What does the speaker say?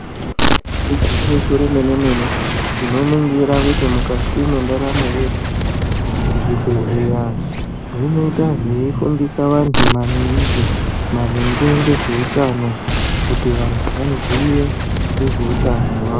Ingwinyiso remene mene tinoningira kuti mukati mwendaramo yedu zvibhedhleya zvinoita zveyifundisa vantu maningi maringe nezveutano kuti vantu vaziye nezveutano hwavo.